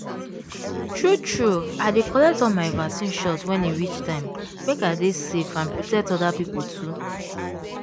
true true i dey collect all my vaccine shot when e reach time make i dey safe and protect other people too.